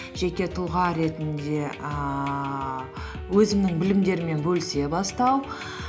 жеке тұлға ретінде ііі өзімнің білімдеріммен бөлісе бастау